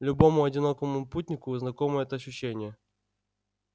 любому одинокому путнику знакомо это ощущение